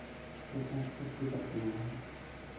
Cid aaad kasbikarto malaxan.